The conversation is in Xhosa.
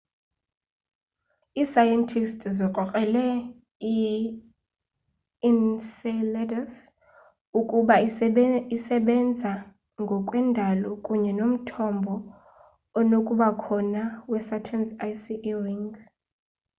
iisayentisti ziyikrokrele i-enceladus ukuba iyasebena ngokwe ndalo kunye nomthombo onokubakhona wesaturn's icy e ring